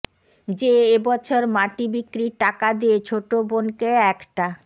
যে এবছর মাটি বিক্রির টাকা দিয়ে ছোট বোনকে একটা